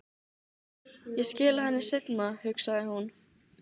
Ég skila henni seinna, hugsaði hún.